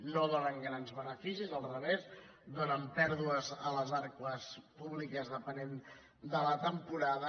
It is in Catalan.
no donen grans beneficis al revés donen pèrdues a les arques públiques depenent de la temporada